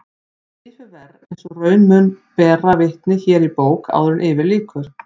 Því fer verr eins og raun mun bera vitni hér í bók áður yfir lýkur.